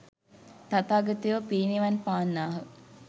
තථාගතයෝ පිරිනිවන් පාන්නාහ.